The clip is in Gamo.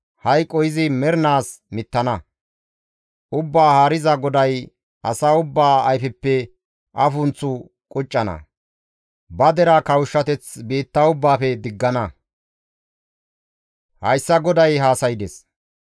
Hayqo izi mernaas mittana; Ubbaa Haariza GODAY asa ubbaa ayfeppe afunththu quccana; ba deraa kawushshateth biitta ubbaafe diggana. Hayssa GODAY haasaydes.